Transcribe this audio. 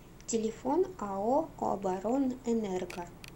телефон ао оборонэнерго